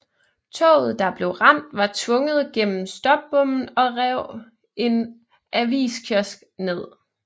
Toget der blev ramt var tvunget gennem stopbommen og rev en aviskiosk ned